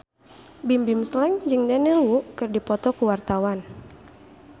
Bimbim Slank jeung Daniel Wu keur dipoto ku wartawan